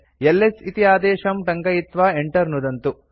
LS इति आदेशं टङ्कयित्वा enter नुदन्तु